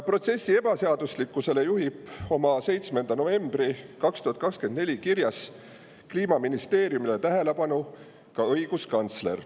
Protsessi ebaseaduslikkusele juhib tähelepanu ka õiguskantsler oma 7. novembri 2024 kirjas Kliimaministeeriumile.